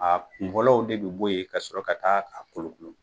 A kunkololɔw de be bɔ yen ka sɔrɔ ka taa a kolokolo